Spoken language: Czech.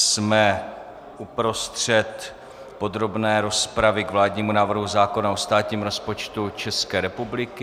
Jsme uprostřed podrobné rozpravy k vládnímu návrhu zákona o státním rozpočtu České republiky.